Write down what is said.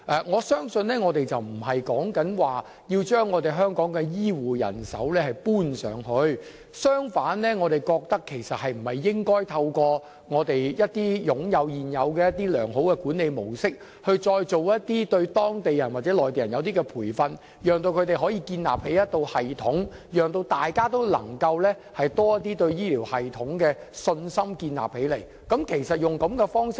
我相信我們不是要把香港的醫護人手帶到內地，相反我們覺得應該透過現時擁有的良好管理模式，對當地人或內地人作出培訓，讓他們可以建立一套系統，讓大家也能夠對醫療系統建立多一點信心。